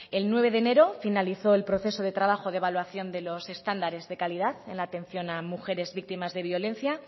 el nueve de enero finalizó el proceso de trabajo de evaluación de los estándares de calidad en la atención de mujeres víctimas de violencia